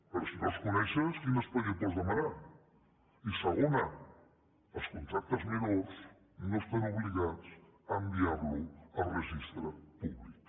però si no els coneixes quin expedient pots demanar i segona els contractes menors no estan obligats a enviar los a registre públic